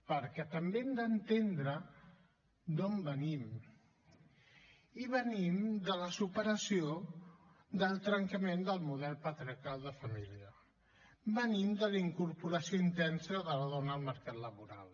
perquè també hem d’entendre d’on venim i venim de la superació del trencament del model patriarcal de família venim de la incorporació intensa de la dona al mercat laboral